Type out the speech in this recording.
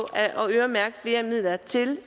øremærke flere midler til